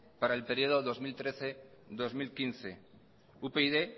para el período dos mil trece dos mil quince upyd